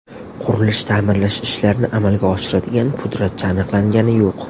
Qurilish-ta’mirlash ishlarini amalga oshiradigan pudratchi aniqlangani yo‘q.